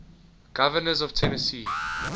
governors of tennessee